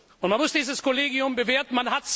Und man muss dieses Kollegium bewerten.